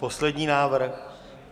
Poslední návrh.